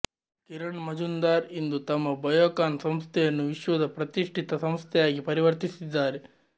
ಕಿರಣ್ ಮಜುಂದಾರ್ ಇಂದು ತಮ್ಮ ಬಯೋಕಾನ್ ಸಂಸ್ಥೆಯನ್ನು ವಿಶ್ವದ ಪ್ರತಿಷ್ಠಿತ ಸಂಸ್ಥೆಯಾಗಿ ಪರಿವರ್ತಿಸಿದ್ದಾರೆ